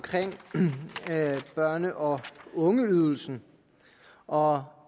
børne og ungeydelsen og